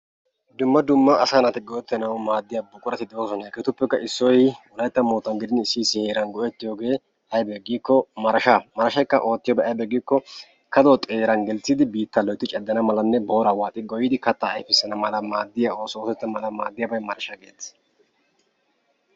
Dumma dumma asaa naati go'ettanawu maaddiya buqurati de'oosona. Hegeetuppekka issoy wolaytta moottan gidin issi issi hara heeran go'ettiyogee aybee giikko marashaa. Marashaykka oottiyobay aybee giikko kaduwa xeeran gelissidi biittaa loytti caddana malanne booraa waaxi goyyidi kattaa ayfissanawu maaddiya oosota oottanawu maaddiyagee marashaa geetettees.